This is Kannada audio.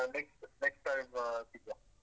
ಆ next, next time ಸಿಗ್ವ.